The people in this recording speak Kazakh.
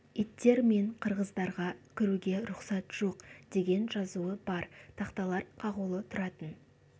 иттер мен қырғыздарға кіруге рұқсат жоқ деген жазуы бар тақталар қағулы тұратын